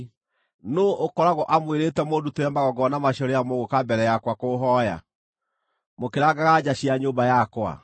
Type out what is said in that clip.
Nũũ ũkoragwo amwĩrĩte mũndutĩre magongona macio rĩrĩa mũgũũka mbere yakwa kũũhooya, mũkĩrangaga nja cia nyũmba yakwa?